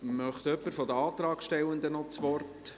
Wünscht jemand von den Antragstellenden das Wort?